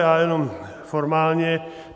Já jenom formálně.